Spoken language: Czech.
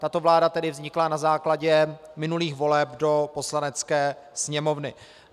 Tato vláda tedy vznikla na základě minulých voleb do Poslanecké sněmovny.